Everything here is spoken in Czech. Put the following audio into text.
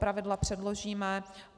Pravidla předložíme.